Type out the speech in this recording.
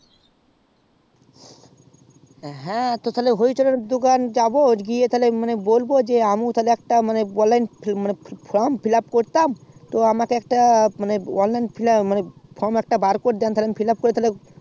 হ্যাঁ তো হরিচরণের দোকান যাবো তো আমিও বলবো একটা online form তা fill up করতাম তো আমাকে একটা online form বার করে দেয় fillup করে তাহলে